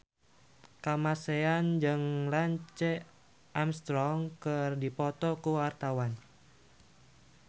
Kamasean jeung Lance Armstrong keur dipoto ku wartawan